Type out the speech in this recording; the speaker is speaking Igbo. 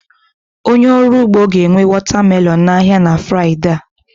Onye ọrụ ugbo ga-enye watermelon n'ahịa na Fraịdee a